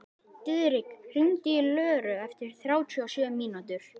Diðrik, hringdu í Löru eftir þrjátíu og sjö mínútur.